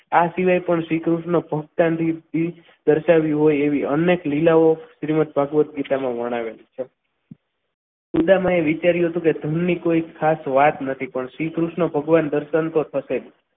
આ સિવાય પણ શ્રીકૃષ્ણ તો દર્શાવવી હોય એવી અનેક લીલાઓ તથા ભગવત ગીતામાં વર્ણવેલી છે ઊંડામાં એ વિચાર્યું હતું કે ધનની કોઈ ખાસ વાત નથી પણ શ્રીકૃષ્ણ ભગવાનના દર્શન તો થશે જ.